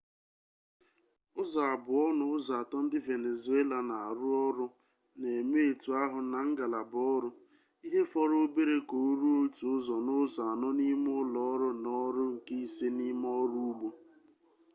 ụzọ abụọ n'ụzọ atọ ndi venezuela na aru oru na-eme etu ahụ na ngalaba oru ihe fọrọ obere ka o ruo otu ụzọ n'ụzọ anọ n'ime ulo oru na oru nke ise n'ime oru ugbo